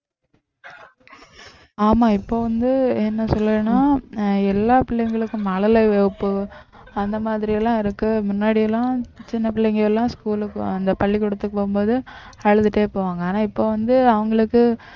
ஆமா இப்ப வந்து என்ன சொல்லுவேன்னா அஹ் எல்லா பிள்ளைங்களுக்கும் மழலைவகுப்பு அந்த மாதிரியெல்லாம் இருக்கு முன்னாடி எல்லாம் சின்ன பிள்ளைங்க எல்லாம் school க்கு அந்த பள்ளிக்கூடத்துக்கு போகும்போது அழுதுட்டே போவாங்க ஆனா இப்ப வந்து அவங்களுக்கு